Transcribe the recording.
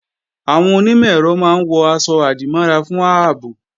Àwọn onímọ̀-ẹ̀rọ máa ń wọ̀ aṣọ-àdìmọ́ra fún ààbò